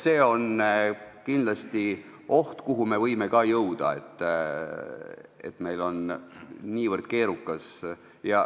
On kindlasti oht, et me võime ka jõuda sinna, et meil on see kõik niivõrd keerukas.